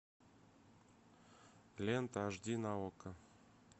лента аш ди на окко